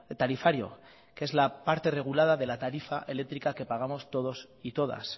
tarifario que es la parte regulada de la tarifa eléctrica que pagamos todos y todas